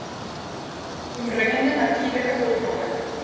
omringende natuurlike hulpbronne